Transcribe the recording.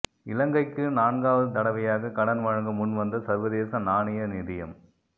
இலங்கைக்கு நான்காவது தடவையாக கடன் வழங்க முன்வந்த சர்வதேச நாணய நிதியம்